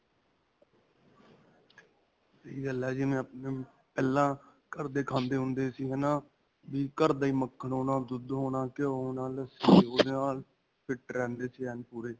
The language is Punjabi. ਸਹੀ ਗੱਲ ਹੈਂ, ਜਿਵੇਂ ਪਹਿਲਾਂ ਘਰ ਦੇ ਖਾਂਦੇ ਹੁੰਦੇ ਸੀ, ਹੈ ਨਾ ਕਿ ਘਰ ਦਾ ਹੀ ਮੱਖਣ ਹੋਣਾ, ਦੁੱਧ ਹੋਣਾ, ਘਿਓ ਹੋਣਾ, ਲੱਸੀ ਓਹਦੇ ਨਾਲ fit ਰਹਿੰਦੇ ਸੀ ਏਨ ਪੂਰੇ .